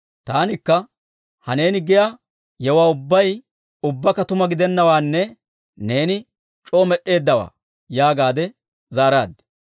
Taanikka, «Ha neeni giyaa yewuwaa ubbay ubbakka tuma gidennawaanne neeni c'oo med'd'eeddawaa» yaagaadde zaaraad.